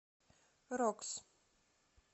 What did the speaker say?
рокс